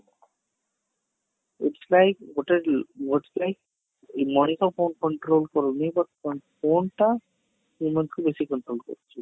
ଉତ୍ସାହିତ ଗୋଟେ ମଣିଷ phone control କରୁନି but phone ଟା human କୁ ବେଶି control କରୁଛି